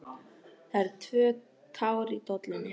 Það eru tvö tár í dollunni.